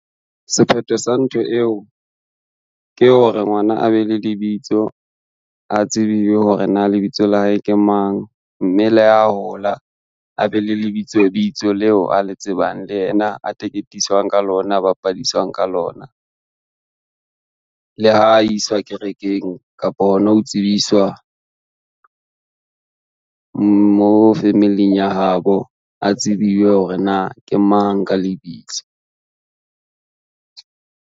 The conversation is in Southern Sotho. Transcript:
Sephetho sa ntho eo, ke hore ngwana a be le lebitso a tsebiwe hore na lebitso la hae ke mang, mme le ha hola a be le lebitsobitso leo a le tsebang le yena a teketiswang ka lona, a bapadisang ka lona. Le ha iswa kerekeng kapo hona ho tsebiswa, mo family-ng ya habo a tsebiwe hore na ke mang ka lebitso.